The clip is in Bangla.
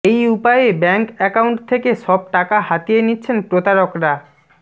এই উপায়ে ব্যাঙ্ক অ্যাকাউন্ট থেকে সব টাকা হাতিয়ে নিচ্ছেন প্রতারকরা